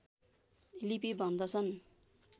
लिपि भन्दछन्